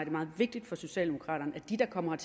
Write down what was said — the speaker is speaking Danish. er meget vigtigt for socialdemokraterne at de der kommer